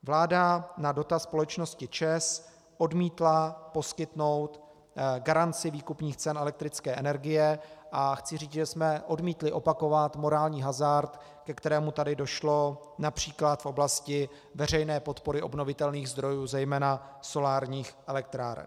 Vláda na dotaz společnosti ČEZ odmítla poskytnout garanci výkupních cen elektrické energie, a chci říct, že jsme odmítli opakovat morální hazard, ke kterému tady došlo například v oblasti veřejné podpory obnovitelných zdrojů, zejména solárních elektráren.